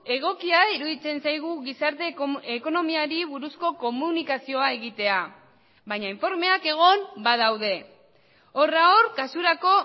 egokia iruditzen zaigu gizarte ekonomiari buruzko komunikazioa egitea baina informeak egon badaude horra hor kasurako